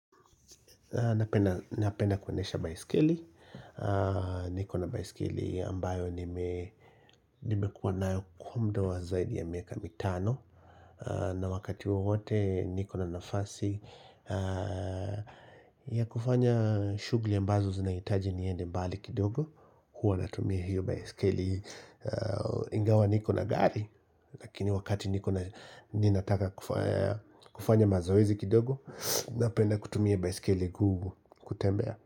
Napenda kuendesha baiskeli nikona baiskeli ambayo nimekuwa na kwa zaidi ya miaka mitano na wakati wowote nikona nafasi ya kufanya shughuli ambazo zinahitaji niende mbali kidogo huwa natumia hiyo baiskeli ingawa nikona gari Lakini wakati nikona ninataka kufanya mazoezi kidogo Napenda kutumia baiskeli kutembea.